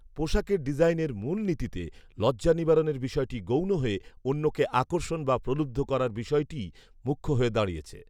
পোশাকের ডিজাইনের মূলনীতিতে লজ্জা নিবারণের বিষয়টি গৌণ হয়ে অন্যকে আকর্ষণ বা প্রলুব্ধ করার বিষয়টিই মুখ্য হয়ে দাঁড়িয়েছে